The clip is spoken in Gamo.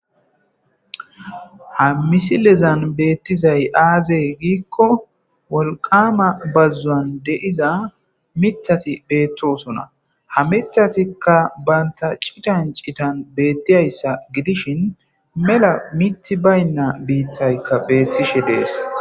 Ha misilezan beettizay aazey giikko wolqama bazzuan deiza mitati beettosona hamithatikka baynta cidan citan beettiyayssa gidishin mela miti baynna biittaykka beettishe dees.